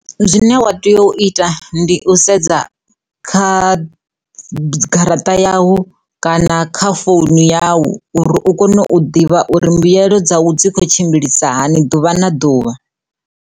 Zwine wa tea u ita ndi u sedza kha garaṱa yau kana kha phone yau uri u kone u ḓivha uri mbuyelo dza u dzi khou tshimbilisa hani ḓuvha na ḓuvha.